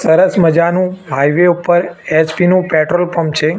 સરસ મજાનુ હાઈવે ઉપર એચ_પી નુ પેટ્રોલ પંપ છે.